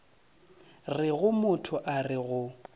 rego motho a re go